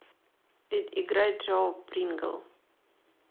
играй джо прингл